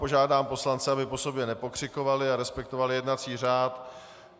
Požádám poslance, aby po sobě nepokřikovali a respektovali jednací řád.